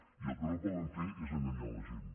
i el que no poden fer és enganyar la gent